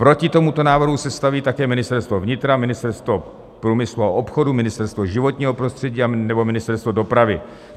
Proti tomuto návrhu se staví také Ministerstvo vnitra, Ministerstvo průmyslu a obchodu, Ministerstvo životního prostředí nebo Ministerstvo dopravy.